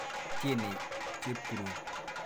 Tyenei Chepkurui.